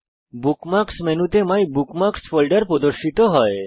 bookmarks মেনুতে my bookmarks folder প্রদর্শিত হয়